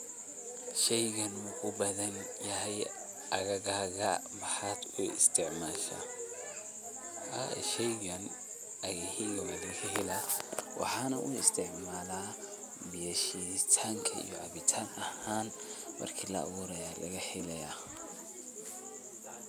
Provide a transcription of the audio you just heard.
shaygaani ma ku badan yahy aaggaaga? maxaad u isticmaasha? haa sheygan aagaheyga waa lagahela. waxanu uu isticmala biya shiiditanta iyo cabitan aahan marki la aburaya laga helaya.